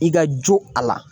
I ka jo a la